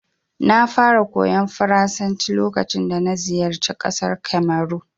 Na fara koyon Faransanci lokacin dana ziyarci ƙasar Kamaru.